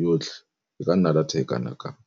yotlhe e ka nna data e kana kang.